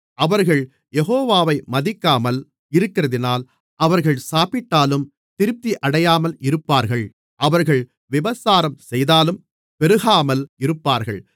அவர்கள் யெகோவாவை மதிக்காமல் இருக்கிறதினால் அவர்கள் சாப்பிட்டாலும் திருப்தியடையாமல் இருப்பார்கள் அவர்கள் விபசாரம் செய்தாலும் பெருகாமல் இருப்பார்கள்